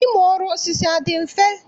Ịmụ ọrụ osisi adị mfe?